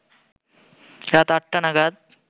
রাত আটটা নাগাদ